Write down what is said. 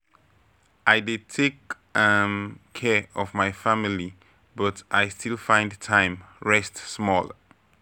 I dey take um care of my family, but I still find time rest small.